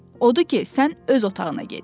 Odur ki, sən öz otağına get.